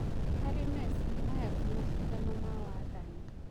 Harĩ Mesi maya ti-macindano ma-wathani.